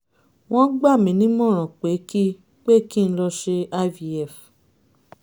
wọ́n gbà mí nímọ̀ràn pé kí pé kí n lọ ṣe ivf